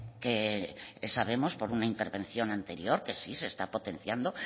que sabemos por una intervención anterior que sí se está potenciando